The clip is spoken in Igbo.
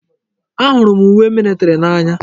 Ahụrụ m uwe militiri n'anya.